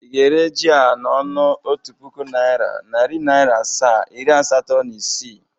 Ị ga-ere ji a n''ọnụ otu puku naira, nari Naira asaa, iri asato na isii?